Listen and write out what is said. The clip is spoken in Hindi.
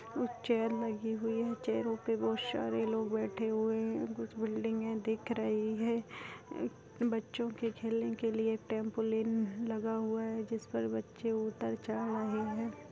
चेयर लगी हुई है चेयर पर बहुत सारे लोग बैठे हुए है कुछ बिल्डिंग दिख रही है बच्चों के खेलने के लिए ट्रैम्पोलिन भी लगा हुआ है जिस पर बच्चे उतर चढ़ रहे है।